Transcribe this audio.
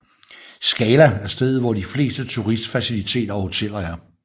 Skala er stedet hvor de fleste turistfaciliteter og hoteller er